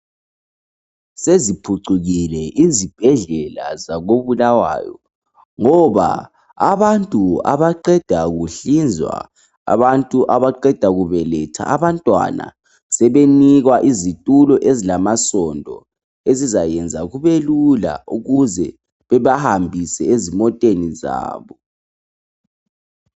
Seziphucukile izibhedlela zako Bulawayo ngoba abantu abaqeda kunhlizwa, abantu abaqeda kubeletha abantwana sebenikwa izitulo ezilamasondo ezizayenza kube lula ukuze bebahambise ezimoteni zabo.